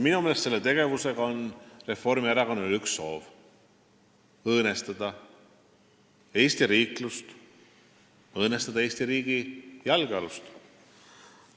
Minu meelest on Reformierakonnal selle tegevusega üks soov: õõnestada Eesti riiklust, õõnestada Eesti riigi jalgealust.